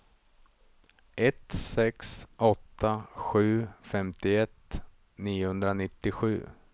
ett sex åtta sju femtioett niohundranittiosju